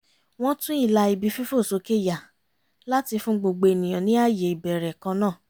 wọ́n tún ìlà ibi fífòsókè yà láti fún gbogbo ènìyàn ní ààyè ìbẹ̀rẹ̀ kan náà